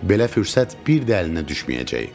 Belə fürsət bir də əlinə düşməyəcək.